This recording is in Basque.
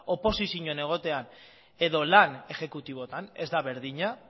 oposizioan egotean edo lan ejekutibotan ez da berdina